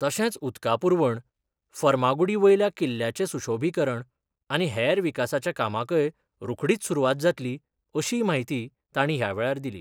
तशेंच उदका पूरवण, फर्मागुडी वयल्या किल्ल्याचे सुशोभिकरण आनी हेर विकासाच्या कामाकय रोखडीच सुरूवात जातली अशीय म्हायती तांणी ह्या वेळार दिली.